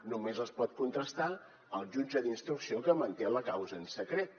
només les pot contrastar el jutge d’instrucció que manté la causa en secret